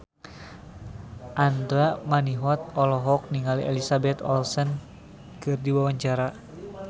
Andra Manihot olohok ningali Elizabeth Olsen keur diwawancara